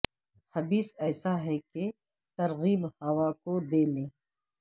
حبس ایسا ہے کہ ترغیب ہوا کو دے لیں